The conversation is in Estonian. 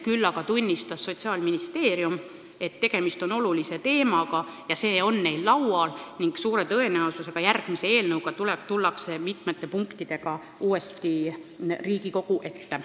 Küll aga tunnistas Sotsiaalministeerium, et tegemist on olulise teemaga, see on neil arutelu all ja suure tõenäosusega tullakse järgmise eelnõu raames mitmete punktidega uuesti Riigikogu ette.